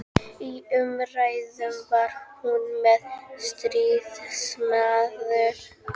Í umræðu var hún sem stríðsmaður.